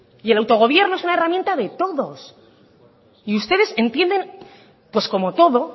y el autogobierno es una herramienta de todos y ustedes entienden pues como todo